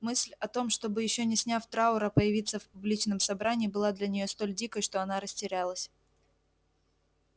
мысль о том чтобы ещё не сняв траура появиться в публичном собрании была для неё столь дикой что она растерялась